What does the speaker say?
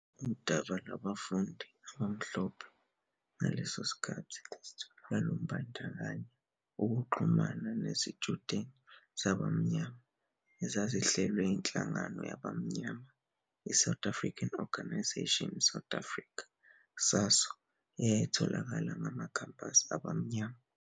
Udaba lwabafundi abamhlophe ngaleso sikhathi lwalubandakanya ukuxhumana nezitshudeni zabamnyama ezazihlelwe inhlangano yabamnyama iSouth African 'Organisation South Africa', SASO, eyayitholakala ngamakhampasi abamnyama.